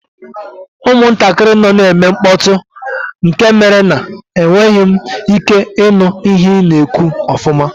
Ụmụntakịrị nọ na-eme mkpọtụ nke mere na enweghị m ike ịnụ ihe ị na-ekwu ọfụma